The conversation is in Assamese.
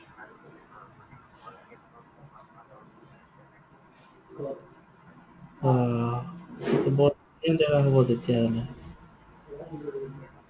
অ। বহুতখিনি দেখা হব তেতিয়াহলে।